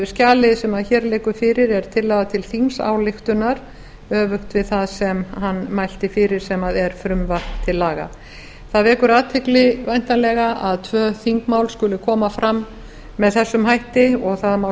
skjalið sem hér liggur fyrir er tillaga til þingsályktunar öfugt við það sem hann mælti fyrir sem er frumvarp til laga það vekur athygli væntanlega að tvö þingmál skuli koma fram með þessum hætti og það má